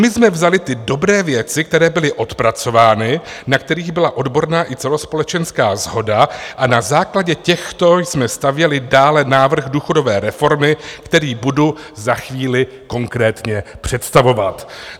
My jsme vzali ty dobré věci, které byly odpracovány, na kterých byla odborná i celospolečenská shoda, a na základě těchto jsme stavěli dále návrh důchodové reformy, který budu za chvíli konkrétně představovat."